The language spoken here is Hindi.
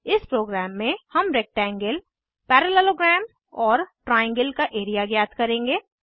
इस प्रोग्राम में हम रेक्टेंगल पैरेललोग्राम और ट्राइएंगल का एरिया ज्ञात करेंगे